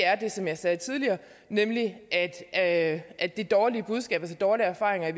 er det som jeg sagde tidligere nemlig at at det dårlige budskab de dårlige erfaringer